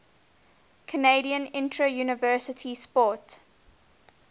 canadian interuniversity sport